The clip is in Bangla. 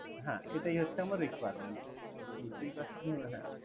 হ্যাঁ এটাই হচ্ছে আমার requirement বুঝতেই পারছেন। হ্যাঁ